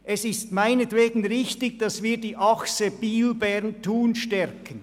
Es ist meinetwegen richtig, dass wir die Achse Biel-Bern-Thun stärken.